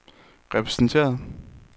repræsenteret